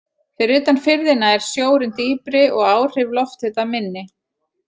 Fyrir utan firðina er sjórinn dýpri og áhrif lofthita minni.